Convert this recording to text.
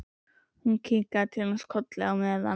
Hún kinkar til hans kolli, og á meðan